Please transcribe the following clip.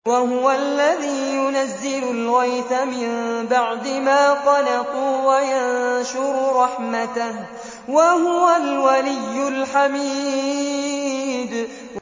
وَهُوَ الَّذِي يُنَزِّلُ الْغَيْثَ مِن بَعْدِ مَا قَنَطُوا وَيَنشُرُ رَحْمَتَهُ ۚ وَهُوَ الْوَلِيُّ الْحَمِيدُ